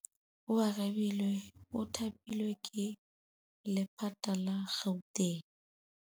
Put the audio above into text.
Oarabile o thapilwe ke lephata la Gauteng.